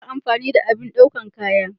Ina son amfani da abin daukan kaya.